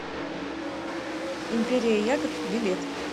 империя ягод билет